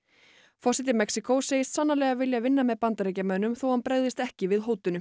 forseti Mexíkó segist sannarlega vilja vinna með Bandaríkjamönnum þó hann bregðist ekki við hótunum